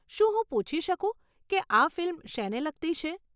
શું હું પૂછી શકું કે આ ફિલ્મ શેને લગતી છે?